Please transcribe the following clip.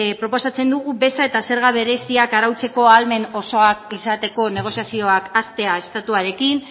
proposatzen dugu beza eta zerga bereziak arautzeko ahalmen osoa izateko negoziazioak hastea estatuarekin